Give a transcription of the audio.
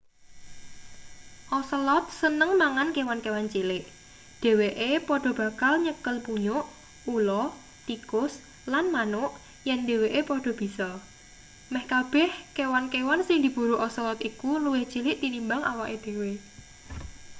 ocelot seneng mangan kewan-kewan cilik dheweke padha bakal nyekel munyuk ula tikus lan manuk yen dheweke padha bisa meh kabeh kewan-kewan sing diburu ocelot iku luwih cilik tinimbang awake dhewe